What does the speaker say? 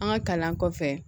An ka kalan kɔfɛ